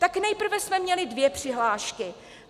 Tak nejprve jsme měli dvě přihlášky.